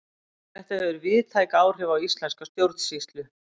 þetta hefur víðtæk áhrif á íslenska stjórnsýslu